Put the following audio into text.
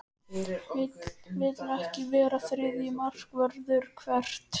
Vill ekki vera þriðji markvörður Hvert?